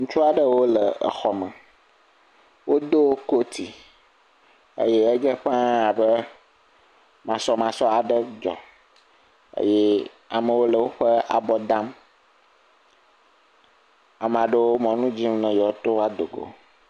ŋutsuaɖewo yo le xɔme wodó kóti eye edze ƒã abe masɔmasɔ aɖe dzɔ eye amewo le wóƒe abɔ dam amaɖewo wo mɔnu dzim be yewɔtó a dogo